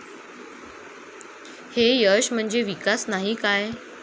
हे यश म्हणजे विकास नाही काय?